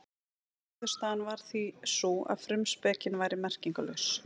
Niðurstaðan varð því sú að frumspekin væri merkingarlaus.